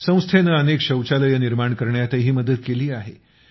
संस्थेने अनेक शौचालयं निर्माण करण्यातही मदत केली आहे